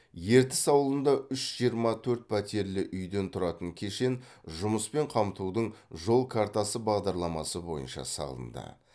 ертіс ауылында үш жиырма төрт пәтерлі үйден тұратын кешен жұмыспен қамтудың жол картасы бағдарламасы бойынша салынды